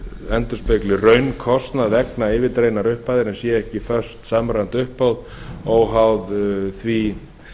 endurspegli raunkostnað vegna yfirdreginnar upphæðar en sé ekki föst samræmt uppbót óháð því